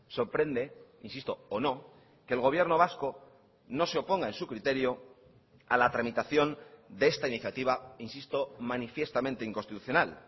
sorprende insisto o no que el gobierno vasco no se oponga en su criterio a la tramitación de esta iniciativa insisto manifiestamente inconstitucional